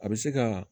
A bɛ se ka